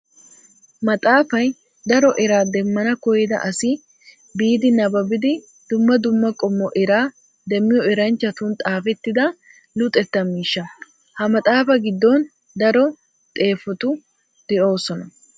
Maxafay daro eraa demmana koyidda asi biidi nababbiddi dumma dumma qommo eraa demmiyo eranchchattun xaafettidda luxetta miishsha. Ha maxafa giddon daro xeefetuu de'osonna.